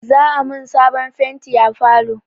Za'a mun sabon fenti a falo.